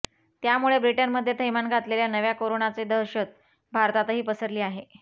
त्यामुळे ब्रिटनमध्ये थैमान घातलेल्या नव्या कोरोनाची दहशत भारतातही पसरली आहे